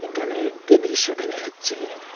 এখানে একটি দৃশ্য দেখা যাচ্ছে।